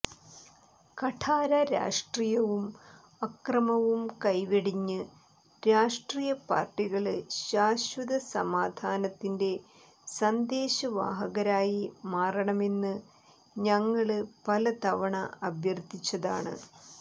കഠാര രാഷ്ട്രീയവും അക്രമവും കൈവെടിഞ്ഞ് രാഷ്ട്രീയ പാര്ട്ടികള് ശാശ്വത സമാധാനത്തിന്റെ സന്ദേശവാഹകരായി മാറണമെന്ന് ഞങ്ങള് പല തവണ അഭ്യര്ത്ഥിച്ചതാണ്